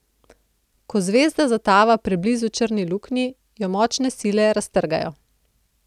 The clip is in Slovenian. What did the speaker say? Ko zvezda zatava preblizu črni luknji, jo močne sile raztrgajo.